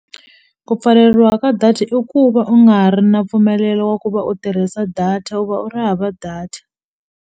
Ku pfaleriwa ka data i ku va u nga ha ri na mpfumelelo wa ku va u tirhisa data u va u ri hava data.